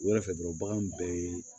U yɛrɛ fɛ dɔrɔn bagan bɛɛ ye